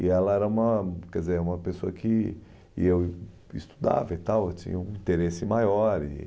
E ela era uma, quer dizer, uma pessoa que e eu estudava e tal, eu tinha um interesse maior. E